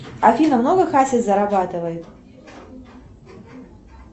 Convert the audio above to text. афина много хасис зарабатывает